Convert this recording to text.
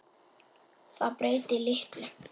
Það breyti litlu.